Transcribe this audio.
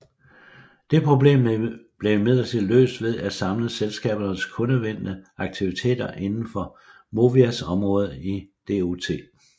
Det problem blev imidlertid løst ved at samle selskabernes kundevendte aktiviteter indenfor Movias område i DOT